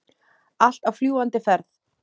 Allt á fljúgandi ferð.